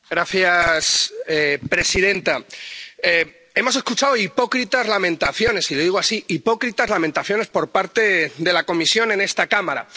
Señora presidenta, hemos escuchado hipócritas lamentaciones —y lo digo así, hipócritas lamentaciones— por parte de la Comisión en esta Cámara.